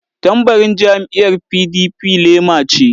Tambarin jam'iyyar PDP lema ce.